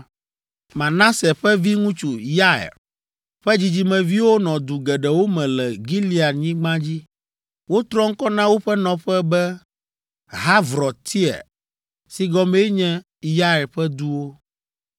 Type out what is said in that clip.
Manase ƒe viŋutsu, Yair ƒe dzidzimeviwo nɔ du geɖewo me le Gileadnyigba dzi. Wotrɔ ŋkɔ na woƒe nɔƒe be, Havrɔtyair, si gɔmee nye Yair ƒe duwo.